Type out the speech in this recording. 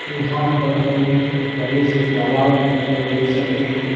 यहाँ पर हम एक बड़े से तालाब को देख सकते हैं।